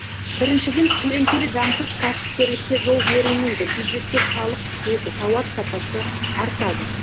біріншіден көлеңкелі заңсыз кәсіпкерлікке жол берілмейді бюджетке салық түседі тауар сапасы артады